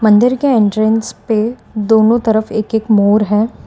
मंदिर के एंट्रेंस पे दोनों तरफ एक एक मोर है।